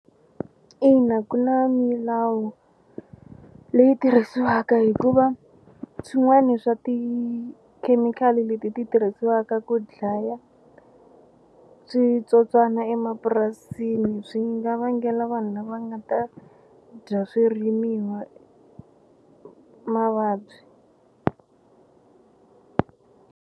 Ina, ku na milawu leyi tirhisiwaka hikuva swin'wani swa tikhemikhali leti ti tirhisiwaka ku dlaya switsotswana emapurasini swi nga vangela vanhu lava nga ta dya swirimiwa mavabyi.